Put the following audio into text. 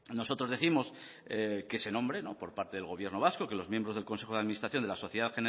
nosotros décimos que se nombre por parte del gobierno vasco que los miembros del consejo de administración de la sociedad